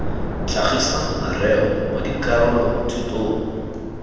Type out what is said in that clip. tlhagisang mareo mo dikarolo thutong